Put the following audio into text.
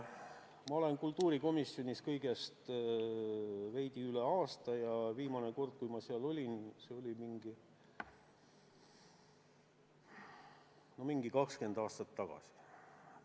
Ma olen kultuurikomisjonis olnud kõigest veidi üle aasta ja viimane kord, kui ma seal olin, oli mingi 20 aastat tagasi.